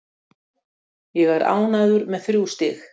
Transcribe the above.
Ég er ánægður með þrjú stig.